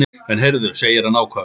En heyrðu, segir hann ákafur.